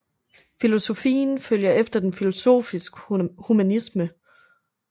Filosofien følger efter den filosofiske humanisme